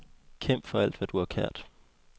Kæmp for alt, hvad du har kært.